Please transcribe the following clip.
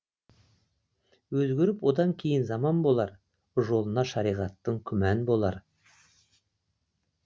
өзгеріп одан кейін заман болар жолына шариғаттың күмән болар